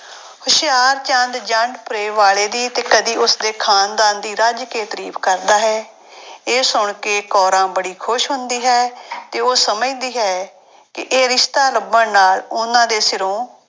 ਹੁਸ਼ਿਆਰਚੰਦ ਜੰਡਪੁਰੇ ਵਾਲੇ ਦੀ ਤੇ ਕਦੇ ਉਸਦੇ ਖਾਨਦਾਨ ਦੀ ਰਜ ਕੇ ਤਾਰੀਫ਼ ਕਰਦਾ ਹੈ ਇਹ ਸੁਣ ਕੇ ਕੋਰਾਂ ਬੜੀ ਖ਼ੁਸ਼ ਹੁੰਦੀ ਹੈ ਤੇ ਉਹ ਸਮਝਦੀ ਹੈ ਕਿ ਇਹ ਰਿਸਤਾ ਲੱਭਣ ਨਾਲ ਉਹਨਾਂ ਦੇ ਸਿਰੋਂ